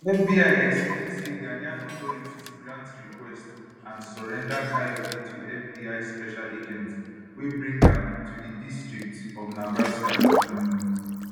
fbi explain say ghanaian authorities grant request and surrender kayode to fbi special agents wey bring am to di district of nebraska um